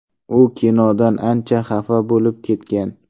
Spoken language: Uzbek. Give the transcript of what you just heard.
U kinodan ancha xafa bo‘lib ketgan.